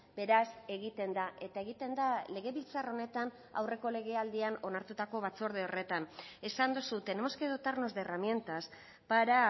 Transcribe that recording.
beraz egiten da eta egiten da legebiltzar honetan aurreko legealdian onartutako batzorde horretan esan duzu tenemos que dotarnos de herramientas para